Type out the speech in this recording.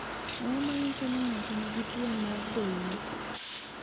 Ang’o ma nyiso ni ng’ato nigi tuwo mar Doyne?